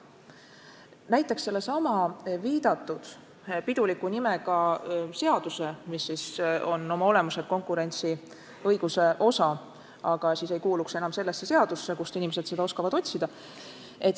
Toon näiteks sellesama viidatud piduliku nimega seaduse, mis oma olemuselt on konkurentsiõiguse osa, aga seal olles ei kuuluks enam sellesse seadusse, kust inimesed oskavad seda otsida.